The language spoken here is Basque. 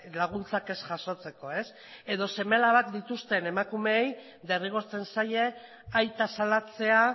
laguntzak ez jasotzeko edo seme alabak dituzten emakumeei derrigortzen zaie aita salatzea